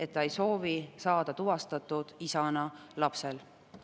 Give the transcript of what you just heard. Kas auväärsel esimehel on mingisugust informatsiooni, millal see umbusaldus võiks tulla meile siia menetlusse?